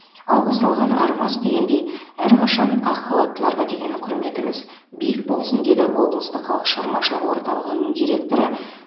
алғыс алған арымас дегендей әрқашан ақ халаттыларға деген құрметіміз биік болсын деді облыстық халық шығармашылығы орталығы директоры